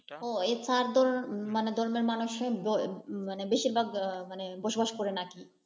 ও এই চার ধর মানে ধর্মের মানুষ বেশিরভাগ মানে বসবাস করেন আর কি।